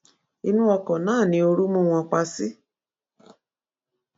inú ọkọ náà ni ooru mú wọn pa sí